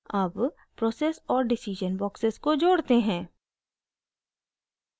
अब process और decision boxes को जोड़ते हैं